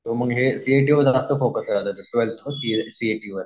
तर हे C A टीवर जास्त फोकस कर सी ए टीवर